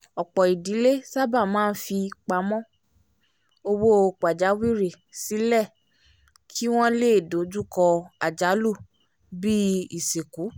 ọ̀pọ̀ idílé sábà máa ń fipamọ́ owó pajawiri sílẹ̀ kí wọ́n lè dojú kọ́ àjálù bíi isinku